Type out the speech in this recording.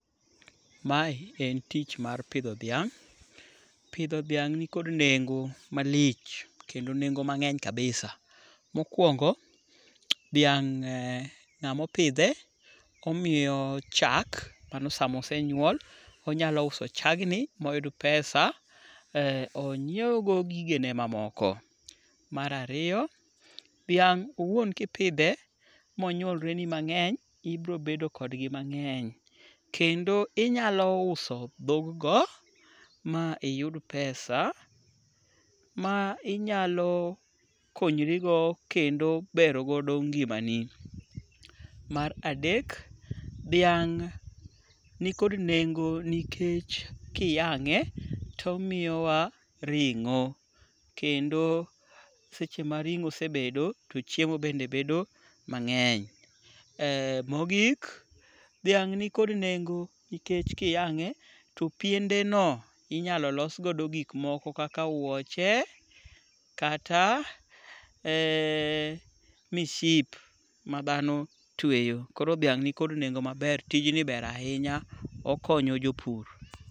Mae en tich mar pidho dhiang'. Pidho dhiang' nikod nengo malich kendo nengo mang'eny kabisa. Mokuongo dhiang' ng'amo pidhe omiyo chak. Mano samo ose nyuol. Onyalo uso chagni moyud pesa onyiew go gigene mamoko. Mar ariyo, dhiang' owuon kipidhe monyuolreni mang'eny, ibiro bedo kodgi mang'eny. Kendo inyalo uso dhog go ma iyud pesa ma inyalo konyrigo kendo bero godo ngimani. Mar adek, dhiang' ni kod nengo nikech kiyang'e tomiyowa ring'o. Kendo seche ma ring'o osebedo to chiemo bende bedo mang'eny. Mogik, dhiang' ni kod nengo nikech kiyang'e to piende no inyalo losgodo gik moko kaka wuoche kata misip ma dhano tweyo. Koro dhiang' ni kod nengo maber. Tijni ber ahinya. Okonyo jopur.